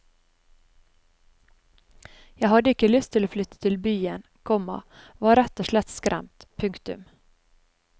Jeg hadde ikke lyst til å flytte til byen, komma var rett og slett skremt. punktum